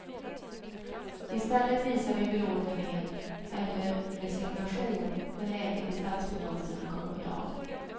I stället visar vi belåtenhet eller resignation när läget i statsfinanserna kommer på tal.